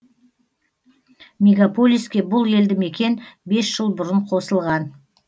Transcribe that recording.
мегаполиске бұл елді мекен бес жыл бұрын қосылған